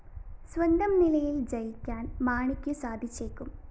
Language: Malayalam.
സ്വന്തം നിലയില്‍ ജയിക്കാന്‍ മാണിക്കു സാധിച്ചേക്കും